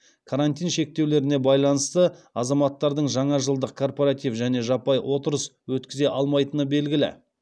карантин шектеулеріне байланысты азаматтардың жаңа жылдық корпоратив және жаппай отырыс өткізе алмайтыны белгілі